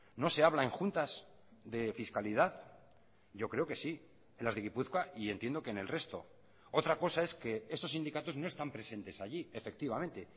no se habla en juntas de fiscalidad yo creo que sí en las de gipuzkoa y entiendo que en el resto otra cosa es que esos sindicatos no están presentes allí efectivamente